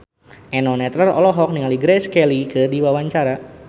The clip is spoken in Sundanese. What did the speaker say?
Eno Netral olohok ningali Grace Kelly keur diwawancara